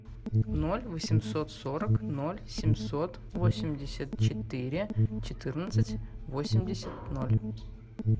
ноль восемьсот сорок ноль семьсот восемьдесят четыре четырнадцать восемьдесят ноль